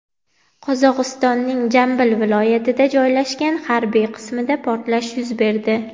Qozog‘istonning Jambil viloyatida joylashgan harbiy qismda portlash yuz berdi.